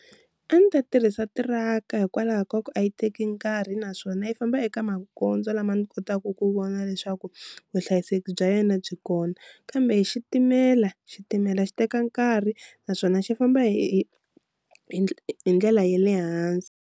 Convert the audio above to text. A ni ta tirhisa tiraka hikwalaho ka ku a yi teki nkarhi naswona yi famba eka magondzo lama ni kotaka ku vona leswaku vuhlayiseki bya yena byi kona, kambe hi xitimela xitimela xi teka nkarhi naswona xi famba hi hi hi ndlela ya le hansi.